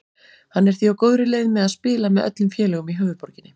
Hann er því á góðri leið með að spila með öllum félögum í höfuðborginni.